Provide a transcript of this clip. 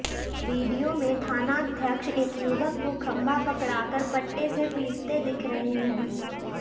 video में थानाध्यक्ष एक युवक को खंभा पकड़ाकर पट्टे से पीटते दिख रहे हैं